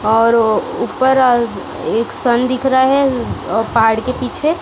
और ऊपर आज एक सन दिख रहा है अ पहाड़ के पीछे--